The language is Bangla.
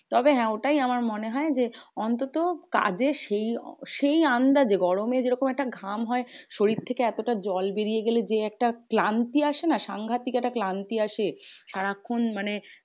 তবে হ্যাঁ ওটাই আমার মনে হয় যে, অন্তত কাজের সেই সেই আন্দাজে গরমে যেরকম একটা ঘাম হয়। শরীর থেকে এতটা জল বেরিয়ে গেলে যে, একটা ক্লান্তি আসেনা? সাংঘাতিক একটা ক্লান্তি আসে। সারাক্ষন মানে